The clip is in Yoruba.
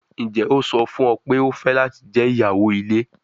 Njẹ o sọ fun ọ pe o fẹ lati jẹ iyawo ile?